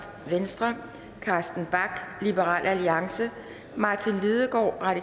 carsten bach martin lidegaard